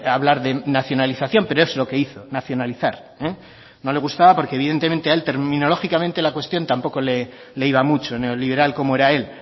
hablar de nacionalización pero es lo que hizo nacionalizar eh no le gustaba porque evidentemente a él terminológicamente la cuestión tampoco le iba mucho neoliberal como era él